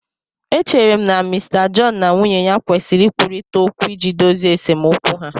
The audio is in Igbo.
Echere m na Mr John na nwunye ya kwesịrị ikwurịta okwu iji dozie esemokwu ha